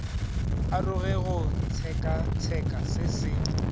aroge go tshekatsheko se se